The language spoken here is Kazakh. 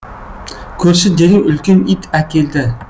көрші дереу үлкен ит әкелді